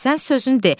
Sən sözünü de.